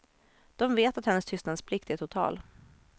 De vet att hennes tystnadsplikt är total.